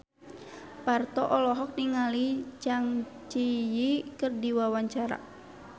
Parto olohok ningali Zang Zi Yi keur diwawancara